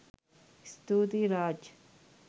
ස්තූතියි රාජ්